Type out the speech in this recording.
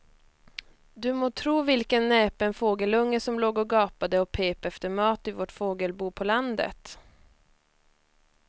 Du må tro vilken näpen fågelunge som låg och gapade och pep efter mat i vårt fågelbo på landet.